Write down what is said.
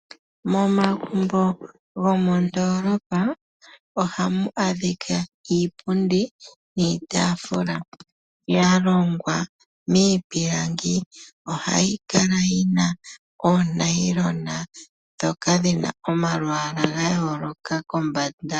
Momagumbo gomondoolopa ohamu adhika iipundi niitaafula ya longwa miipilangi. Ohayi kala yi na oonayilona ndhoka dhi na omalwaala ga yooloka kombanda.